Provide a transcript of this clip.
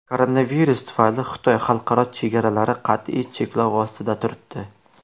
Koronavirus tufayli Xitoy xalqaro chegaralari qat’iy cheklov ostida turibdi.